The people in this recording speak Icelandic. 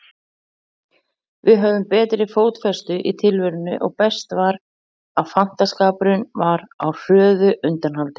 Við höfðum betri fótfestu í tilverunni og best var, að fantaskapurinn var á hröðu undanhaldi.